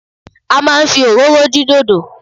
A máa ń fi òróró dín dòdò.